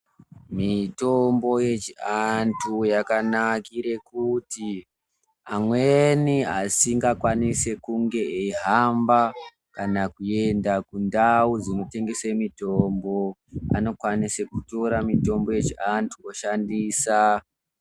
Mitombo yechianthu yakanakire kuti, amweni asingakwanisi kunge eihamba kana kuenda kundau dzinotengese mitombo. Anokwanisa kutora mitombo yechianthu eishandisa.